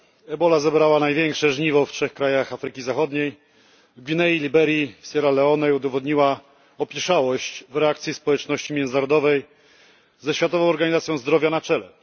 Ebola zebrała największe żniwo w trzech krajach Afryki Zachodniej w Gwinei, Liberii, Sierra Leone, i udowodniła opieszałość w reakcji społeczności międzynarodowej, ze Światową Organizacją Zdrowia na czele.